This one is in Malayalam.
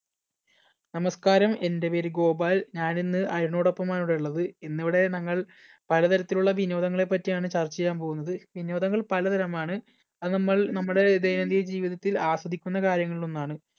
നമസ്കാരം! എന്‍ടെ പേര് ഗോപാൽ. ഞാനിന്ന് അരുണിനോടൊപ്പം ആണ് ഇവിടെ ഉള്ളത്. ഇന്നിവിടെ ഞങ്ങൾ പലതരത്തിലുള്ള വിനോദങ്ങളെ പറ്റിയാണ് ചർച്ച ചെയ്യാൻ പോകുന്നത്. വിനോദങ്ങൾ പലതരമാണ് അത് നമ്മൾ നമ്മുടെ ദൈനംദിന ജീവിതത്തിൽ ആസ്വദിക്കുന്ന കാര്യങ്ങളിൽ ഒന്നാണ്.